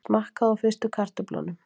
Smakkað á fyrstu kartöflunum